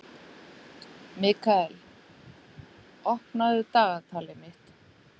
Mikkael, opnaðu dagatalið mitt.